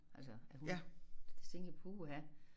Altså at hun så tænkte jeg puha